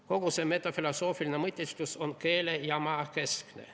Kogu see metafilosoofiline mõtisklus on keele- ja maakeskne.